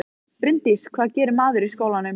Bryndís: Hvað gerir maður í skólanum?